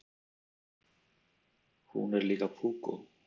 Hún er líka púkó.